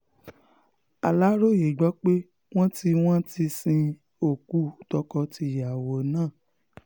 aláròye gbọ́ pé wọ́n ti wọ́n ti sin okùn tọkọ tìyàwó náà